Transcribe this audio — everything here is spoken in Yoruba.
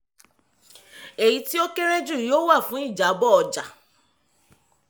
èyí tí ó kéré jù yóò wà fún ìjábọ̀ ọjà